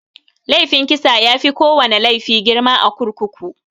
Laifin kisa yafi kowana laifi girma a kurkuku.